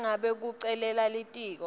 nangabe kucela litiko